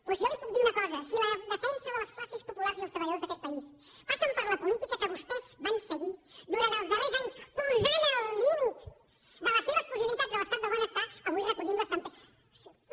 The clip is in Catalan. doncs jo li puc dir una cosa si la defensa de les classes populars i els treballadors d’aquest país passa per la política que vostès van seguir durant els darrers anys posant al límit de les seves possibilitats l’estat del benestar avui recollim les tempestes